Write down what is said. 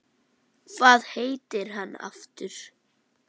Hvað heitir hann aftur?